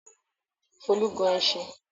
Folú gun ẹṣin?